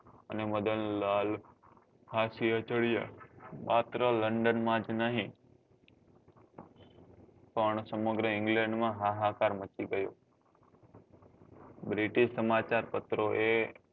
અને મદન લાલ ફસી એ ચડ્યા માત્ર london માં જ નહિ પણ સમગ્ર england માં હા હા કાર મચી ગયો british સમાચાર પત્રો એ